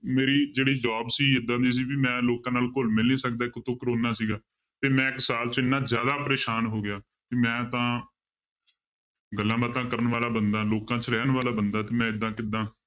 ਮੇਰੀ ਜਿਹੜੀ job ਸੀ ਏਦਾਂ ਦੀ ਸੀ ਵੀ ਮੈਂ ਲੋਕਾਂ ਨਾਲ ਘੁਲ ਮਿਲ ਨੀ ਸਕਦਾ ਇੱਕ ਉੱਤੋਂ ਕੋਰੋਨਾ ਸੀਗਾ ਤੇ ਮੈਂ ਇੱਕ ਸਾਲ 'ਚ ਇੰਨਾ ਜ਼ਿਆਦਾ ਪਰੇਸਾਨ ਹੋ ਗਿਆ ਕਿ ਮੈਂ ਤਾਂ ਗੱਲਾਂਬਾਤਾਂਂ ਕਰਨ ਵਾਲਾ ਬੰਦਾ ਲੋਕਾਂ 'ਚ ਰਹਿਣ ਵਾਲਾ ਬੰਦਾ ਤੇ ਮੈਂ ਏਦਾਂ ਕਿੱਦਾਂ